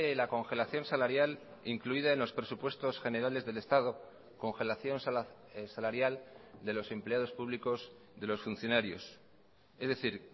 la congelación salarial incluida en los presupuestos generales del estado congelación salarial de los empleados públicos de los funcionarios es decir